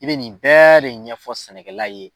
I bɛ nin bɛɛ de ɲɛfɔ sɛnɛkɛla ye.